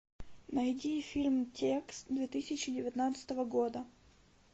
найди фильм текст две тысячи девятнадцатого года